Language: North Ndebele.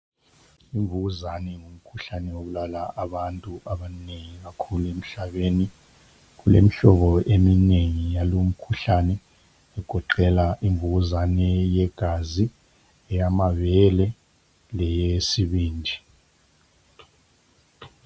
Imvukuzane ngumkhuhlane obulala abantu abanengi kakhulu emhlabeni kulemihlobo eminengi yalo mkhuhlane igoqela imvukuzane yegazi, eyamabele leyesibindi.